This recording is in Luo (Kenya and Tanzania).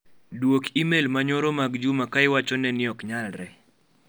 Duok imel manyoro mag Juma ka iwacho ne ni ok nyalre.